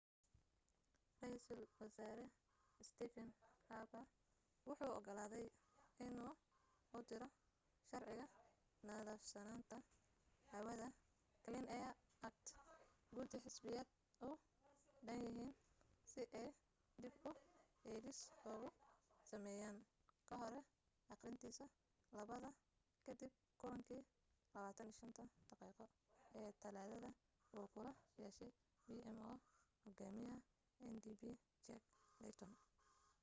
raiisel wasaare stephen harper wuxuu ogolaaday inuu u diro sharciga 'nadiifsanaanta hawada clean air act' gudi xisbiyada u dhanyihiin si ay dib u eegis ugu sameeyaan kahor aqrintiisa labaad kadib kulankii 25-ta daqiiqo ee talaadada uu kula yeeshay pmo hogaamiyaha ndp jack layton